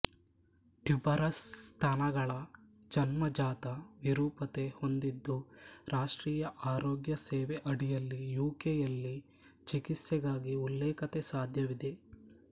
tuberous ಸ್ತನಗಳು ಜನ್ಮಜಾತ ವಿರೂಪತೆ ಹೊಂದಿದ್ದು ರಾಷ್ಟ್ರೀಯ ಆರೋಗ್ಯ ಸೇವೆ ಅಡಿಯಲ್ಲಿ ಯು ಕೆ ಯಲ್ಲಿ ಚಿಕಿತ್ಸೆಗಾಗಿ ಉಲ್ಲೇಖತೆ ಸಾಧ್ಯವಿದೆ